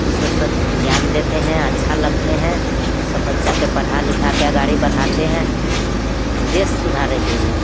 teacher सब ज्ञान देते है अच्छा लगते हैं सब बच्चा के पढ़ा लिखा के गाड़ी बढ़ाते हैं देश सुधारे के लिए --